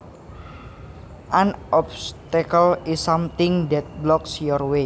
An obstacle is something that blocks your way